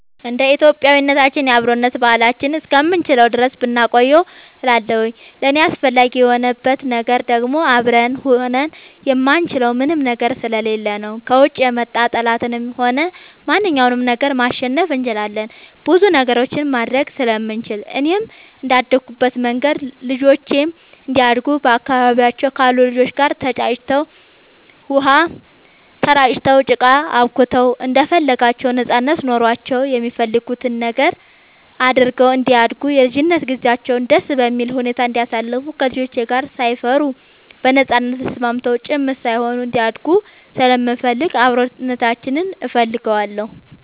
እንደ ኢትዮጵያዊነታችን የአብሮነት ባህላችንን እስከምንችለው ድረስ ብናቆየው እላለሁኝ። ለእኔ አስፈላጊ የሆንበት ነገር ደግሞ አብረን ሆነን የማንችለው ምንም ነገር ስለሌለ ነው። ከውጭ የመጣ ጠላትንም ሆነ ማንኛውንም ነገር ማሸነፍ እንችላለን ብዙ ነገሮችንም ማድረግ ስለምንችል፣ እኔም እንደአደኩበት መንገድ ልጆቼም እንዲያድጉ በአካባቢያቸው ካሉ ልጆች ጋር ተጫውተው, ውሃ ተራጭተው, ጭቃ አቡክተው እንደፈለጋቸው ነጻነት ኖሯቸው የሚፈልጉትን ነገር አድርገው እንዲያድጉ የልጅነት ጊዜያቸውን ደስ በሚል ሁኔታ እንዲያሳልፉ ከልጆች ጋር ሳይፈሩ በነጻነት ተስማምተው ጭምት ሳይሆኑ እንዲያድጉ ስለምፈልግ አብሮነታችንን እፈልገዋለሁ።